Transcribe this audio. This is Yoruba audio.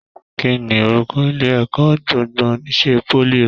Kínní orúkọ ilé ẹ̀kọ́ gbogbo n'isè poly rẹ?